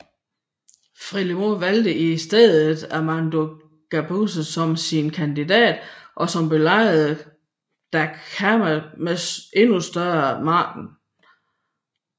FRELIMO valgte i stedet Armando Guebuza som sin kandidat og som besejrede Dhlakama med endnu større margin